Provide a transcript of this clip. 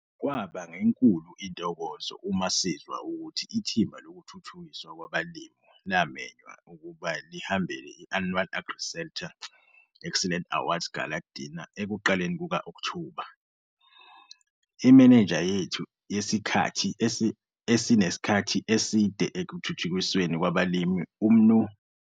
Kwaba ngenkulu intokozo uma sizwa ukuthi ithimba lokuThuthukiswa kwabaLimi lamenywa ukuba lihambele i-Annual AgriSeta Excellence Awards gala dinner ekuqaleni kuka-Okthoba 2018. Imenenja yethu yesikhathi esinesikhathi esie ekuThuthikisweni kwabaLimi, uMnu.